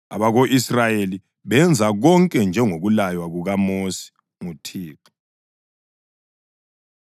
Abako-Israyeli benza konke njengokulaywa kukaMosi nguThixo.